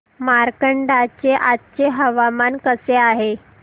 मार्कंडा चे आजचे हवामान कसे आहे